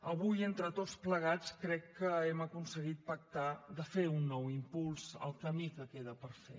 avui entre tots plegats crec que hem aconseguit pactar fer un nou impuls al camí que queda per fer